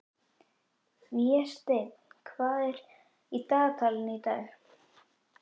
Vésteinn, hvað er í dagatalinu í dag?